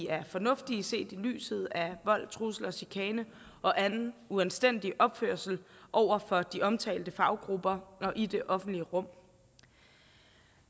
er fornuftigt set i lyset af om vold trusler chikane og anden uanstændig opførsel over for de omtalte faggrupper og i det offentlige rum